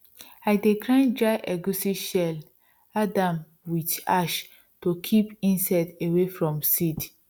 i dey grind dry egusi shell add am wit ash to kip insects away from seeds